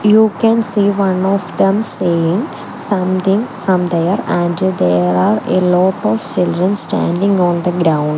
you can see one of them saying something from there and there are a lot of children standing on the ground.